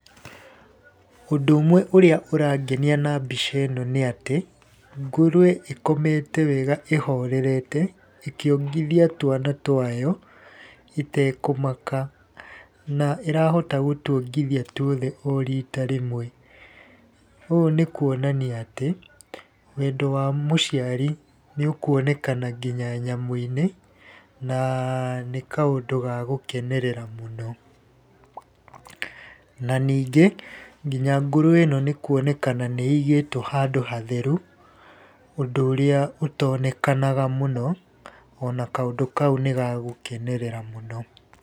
Ũndũ ũmwe ũrĩa ũrangenia na mbica ĩno nĩ atĩ ngũrũwe ĩkomete wega ĩhorerete ĩkĩongithia twana twayo ĩtekũmaka. Na ĩrahota gũtuongithia tuothe o rita rĩmwe. Ũũ nĩ kuonania atĩ, wendo wa mũciari nĩ ũkuonekana nginya nyamũ-inĩ, na nĩ kaũndũ ga gũkenerera mũno. Na ningĩ, nginya ngũrũwe ĩno nĩ kuonekana nĩ ĩigĩtwo handũ hatheru ũndũ ũrĩa ũtonekanaga mũno, ona kaũndũ kau nĩ gagũkenerera mũno.